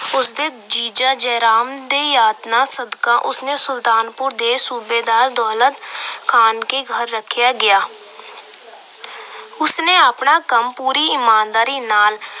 ਉਸ ਦੇ ਜੀਜਾ ਜੈ ਰਾਮ ਦੇ ਯਤਨਾਂ ਸਦਕਾ ਉਸ ਨੇ ਸੁਲਤਾਨਪੁਰ ਦੇ ਸੂਬੇਦਾਰ ਦੌਲਤ ਖਾਨ ਦੇ ਘਰ ਰੱਖਿਆ ਗਿਆ। ਉਸਨੇ ਆਪਣਾ ਕੰਮ ਪੂਰੀ ਈਮਾਨਦਾਰੀ ਨਾਲ